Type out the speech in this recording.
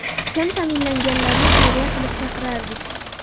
Kam ta’minlanganlarni xayriya qilib chaqirardik.